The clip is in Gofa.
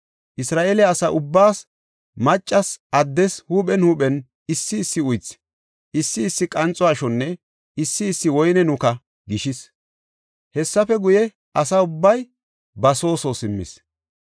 Isra7eele asa ubbaas, maccas addes huuphen huuphen issi issi uythi, issi issi qanxo ashonne issi issi woyne nuka gishis. Hessafe guye asa ubbay ba soo soo simmis.